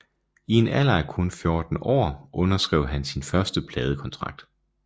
I en alder af kun 14 år underskrev han sin første pladekontrakt